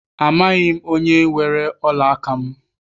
Amaghị m onye weere ọla aka m.